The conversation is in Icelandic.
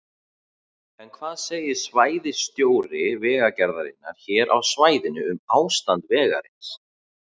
En hvað segir svæðisstjóri Vegagerðarinnar hér á svæðinu um ástand vegarins?